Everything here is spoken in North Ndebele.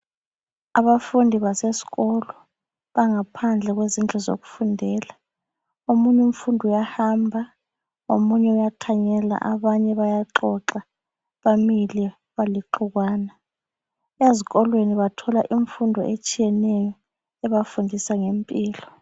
Abafundi basesikolo bangaphandle kwezindlu zokufundela. Omunye umfundi uyahamba, omunye uyathanyela abanye bayaxoxa bamile balixukwana. Ezikolweni bathola imfundo etshiyeneyo ebafundisa ngempilo.